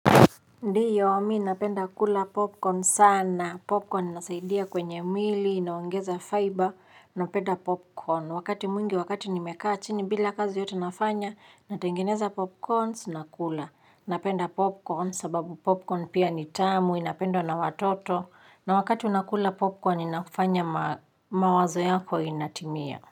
Ndiyo mi napenda kula popcorn sana. Popcorn inasaidia kwenye mwili, inaongeza fiber, ninapenda popcorn. Wakati mwngi, wakati nimekaa chini bila kazi yoyote nafanya, natengeneza popcorn, nakula. Napenda popcorn sababu popcorn pia ni tamu, inapendwa na watoto. Na wakati unakula popcorn, inafanya mawazo yako inatimia.